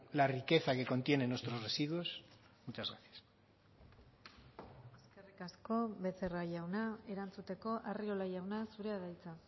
la riqueza que contienen nuestros residuos muchas gracias eskerrik asko becerra jauna erantzuteko arriola jauna zurea da hitza